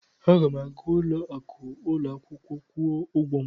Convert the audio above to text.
Aga m aga n'ụlọ akụ ụlọ akwụkwọ kwụọ ụgwọ m.